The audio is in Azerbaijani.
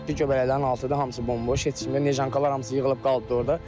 Göbələklərin altı da hamısı bomboşdur, heç kim deyil, neşankalar hamısı yığılıb qalmışdı orda.